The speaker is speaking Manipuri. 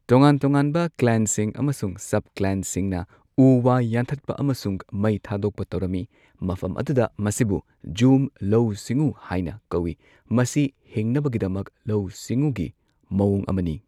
ꯇꯣꯉꯥꯟ ꯇꯣꯉꯥꯟꯕ ꯀ꯭ꯂꯦꯟꯁꯤꯡ ꯑꯃꯁꯨꯡ ꯁꯕꯀ꯭ꯂꯦꯟꯁꯤꯡꯅ ꯎ ꯋꯥ ꯌꯥꯟꯊꯠꯄ ꯑꯃꯁꯨꯡ ꯃꯩ ꯊꯥꯗꯣꯛꯄ ꯇꯧꯔꯝꯃꯤ, ꯃꯐꯝ ꯑꯗꯨꯗ ꯃꯁꯤꯕꯨ ꯓꯨꯝ ꯂꯧꯎ ꯁꯤꯡꯎ ꯍꯥꯏꯅ ꯀꯧꯏ ꯃꯁꯤ ꯍꯤꯡꯅꯕꯒꯤꯗꯃꯛ ꯂꯧꯎ ꯁꯤꯡꯎꯒꯤ ꯃꯑꯣꯡ ꯑꯃꯅꯤ꯫